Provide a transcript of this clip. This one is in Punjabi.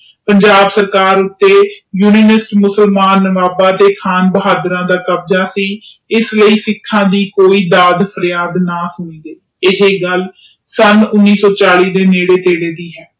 ਪੰਜਾਬ ਸਰਕਾਰ ਉਤੇ ਯੂਨੀਨਿਸਟ ਮੁਸਲਮਾਨ ਨਵਾਬ ਤੇ ਖਾਨ ਬਹਾਦਰਾਂ ਦਾ ਕਬਜਾ ਸੀ ਇਸਲਈ ਸਿੱਖਾਂ ਦੀ ਕੋਈ ਦਾਦ ਫਰਿਆਦ ਨਹੀਂ ਸੁਣੀ ਗਈ ਇਹ ਗੱਲ ਸਨ ਉਣੀ ਸੋ ਚਾਲੀ ਦੇ ਨੇੜੇ ਤੇੜੇ ਦੀ ਹੈ।